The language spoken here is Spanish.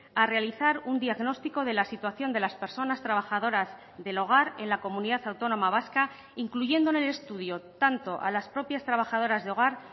a realizar un diagnóstico de la situación de las personas trabajadoras del hogar en la comunidad autónoma vasca incluyendo en el estudio tanto a las propias trabajadoras de hogar